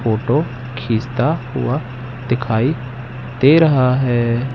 Photo खींचता हुआ दिखाई दे रहा है।